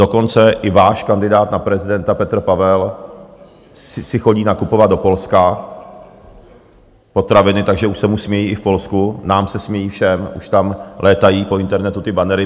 Dokonce i váš kandidát na prezidenta Petr Pavel si chodí nakupovat do Polska potraviny, takže už se mu smějí i v Polsku, nám se smějí všem, už tam létají po internetu ty bannery.